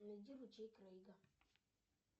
найди ручей крейга